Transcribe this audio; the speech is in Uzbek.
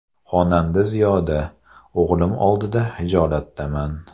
Xonanda Ziyoda: O‘g‘lim oldida xijolatdaman.